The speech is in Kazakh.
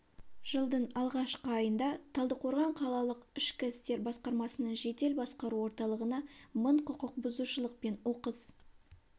жылдың алғашқы айында талдықорған қалалық ішкі істер басқармасының жедел басқару орталығына мың құқықбұзушылық пен оқыс